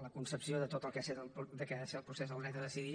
la concepció de tot el que ha de ser el procés del dret a decidir